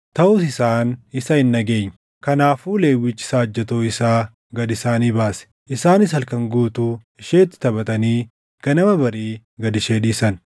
Taʼus isaan isa hin dhageenye. Kanaafuu Lewwichi saajjatoo isaa gad isaanii baase; isaanis halkan guutuu isheetti taphatanii ganama barii gad ishee dhiisan.